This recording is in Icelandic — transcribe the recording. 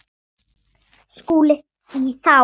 SKÚLI: Þá?